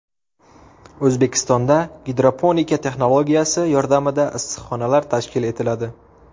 O‘zbekistonda gidroponika texnologiyasi yordamida issiqxonalar tashkil etiladi.